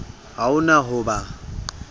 ha o na ho ba